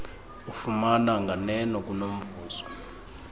ufumana nganeno kunomvuzo